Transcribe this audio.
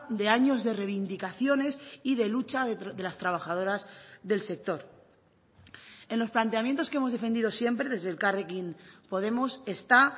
de años de reivindicaciones y de lucha de las trabajadoras del sector en los planteamientos que hemos defendido siempre desde elkarrekin podemos está